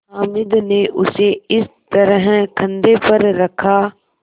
हामिद ने उसे इस तरह कंधे पर रखा